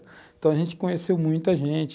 Então, a gente conheceu muita gente.